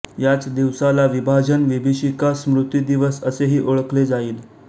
याच दिवसाला विभाजन विभीषिका स्मृति दिवस असेही ओळखले जाईल